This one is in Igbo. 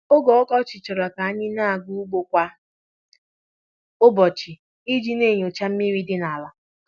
Oge ọkọchị chọrọ ka a na-aga ugbo kwa ụbọchị iji na-enyocha mmiri dị n'ala.